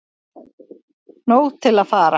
Nóg til að fara